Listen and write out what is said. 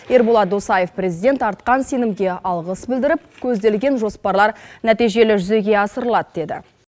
ерболат досаев президент артқан сенімге алғыс білдіріп көзделген жоспарлар нәтижелі жүзеге асыралады деді